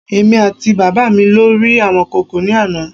Èmi àti bàbá me lọ rí amọ̀kòkò ní àná